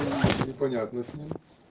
непонятно с ним